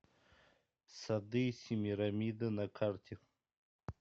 сады семирамиды на карте